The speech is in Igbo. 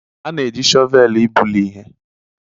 A na-eji shọvel ibuli ihe